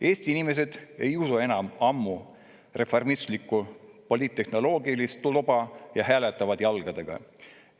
Eesti inimesed ei usu enam ammu reformistlikku poliittehnoloogilist loba ja hääletavad jalgadega.